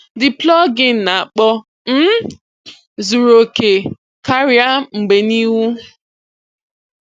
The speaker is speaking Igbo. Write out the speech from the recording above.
The plugin na-akpọ um zuru okè karịa mgbe n'ihu.